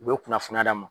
U bɛ kunnafoni d'a ma